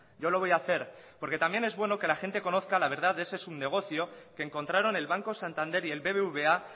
yo lo voy a hacer porque también es bueno que la gente conozca la verdad de ese subnegocio que encontraron el banco santander y el bbva